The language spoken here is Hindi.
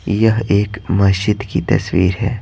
यह एक मस्जिद की तस्वीर है।